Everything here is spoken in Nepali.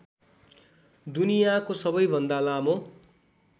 दुनियाँको सबैभन्दा लामो